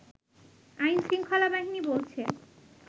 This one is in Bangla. আইন-শৃঙ্খলাবাহিনী বলছে